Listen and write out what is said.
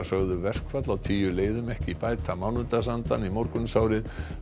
sögðu verkfall á tíu leiðum ekki bæta mánudagsandann í morgunsárið